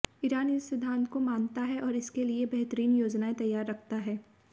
Iran इस सिद्धांत को मानता है और इसके लिए बेहतरीन योजनाएं तैयार रखता है